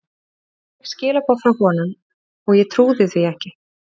Ég fékk skilaboð frá honum og ég trúði því ekki.